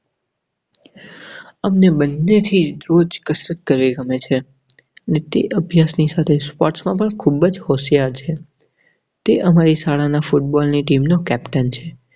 હમને બન્નેહી રોજ કસરત કરેં ગમે છે. નીતિ અભ્યાસની સાથે sports માં પણ ખૂબ હોશિયાર છે. તે અમારી શાળા ના ફૂટબોલની team નો captain છે.